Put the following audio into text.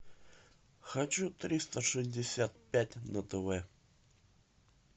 хочу триста шестьдесят пять на тв